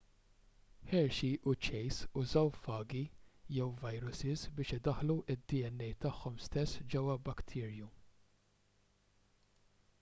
hershey u chase użaw fagi jew vajrusis biex idaħħlu d-dna tagħhom stess ġewwa bacterium